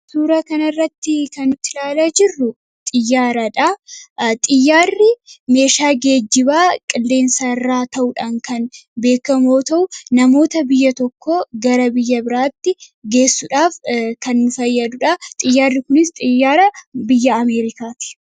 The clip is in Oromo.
Suura kana irratti kan nuti ilaalaa jirru xiyyaaradha. Xiyyaarri meeshaa geejibaa qilleensa irraa ta'uudhaan kan beekamuta'uu, namoota biyya tokkoo gara biyya biraatti geessuudhaaf kan fayyaduudha. Xiyyaarri kunis xiyyaara biyya Ameerikaati.